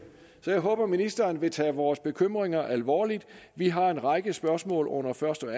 så jeg håber ministeren vil tage vores bekymringer alvorligt vi har en række spørgsmål under første og